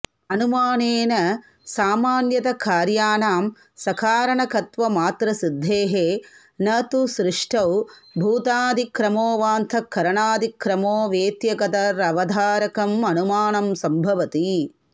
अनुमानेन सामान्यतः कार्याणां सकारणकत्वमात्रसिद्धेः न तु सृष्टौ भूतादिक्रमो वाऽन्तःकरणादिक्रमो वेत्येकतरवधारकमनुमानं सम्भवति